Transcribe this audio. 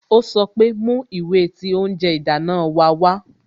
Ó sọ pé "Mú ìwé tí oúnjẹ ìdáná wa wá"